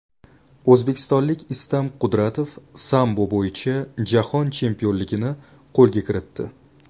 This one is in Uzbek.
O‘zbekistonlik Istam Qudratov sambo bo‘yicha jahon chempionligini qo‘lga kiritdi.